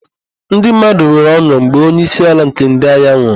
NdỊ mmadụ nwere ọn̄ụ mgbe onyeisiala nke ndỊ agha nwụrụ.